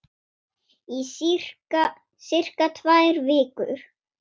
Í sirka tvær vikur.